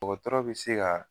Dɔgɔtɔrɔ be se ka